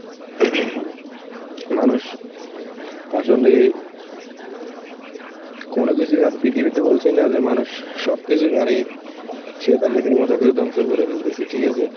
মানুষ আসলে কোনো কিছুই আর পৃথিবীতে বলছি না যে মানুষ স~ সবকিছু কারে, সে তার নিজের মতন করে ধ্বংস করে ফেলতেছে, ঠিক আছে?